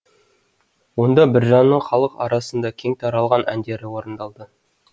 онда біржанның халық арасында кең таралған әндері орындалды